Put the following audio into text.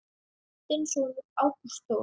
Þinn sonur Ágúst Þór.